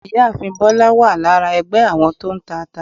Ìyáàfín bólá wa lára ẹgbé àwọn to ń tà ata